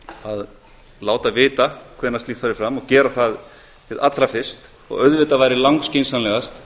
að láta vita hvenær slíkt fari fram og gera það hið allra fyrst og auðvitað væri langskynsamlegast